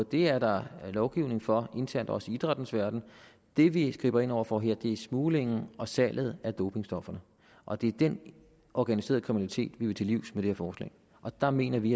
det er der lovgivning for internt også i idrættens verden det vi griber ind over for her er smuglingen og salget af dopingstofferne og det er den organiserede kriminalitet vi vil til livs med det her forslag og der mener vi